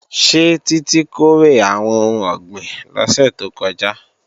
Ṣé Títí kórè àwọn ohun ọ̀gbìn lọ́sẹ̀ tó kọjá?